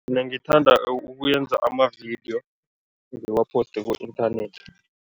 Mina ngithanda ukuyenza amavidiyo, ngiwaposte ku-internet.